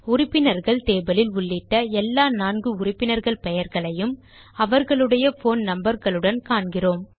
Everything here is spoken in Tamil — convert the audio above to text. உறுப்பினர்கள் டேபிள் இல் உள்ளிட்ட எல்லா நான்கு உறுப்பினர்கள் பெயர்களையும் அவர்களுடைய போன் நம்பர் களுடன் காண்கிறோம்